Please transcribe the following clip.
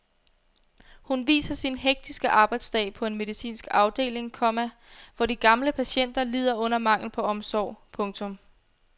Hun viser sin hektiske arbejdsdag på en medicinsk afdeling, komma hvor de gamle patienter lider under manglen på omsorg. punktum